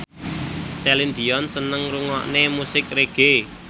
Celine Dion seneng ngrungokne musik reggae